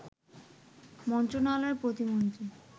মন্ত্রণালয়ের প্রতিমন্ত্রী